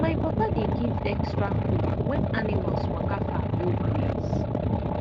my papa dey give extra food when animals waka far go graze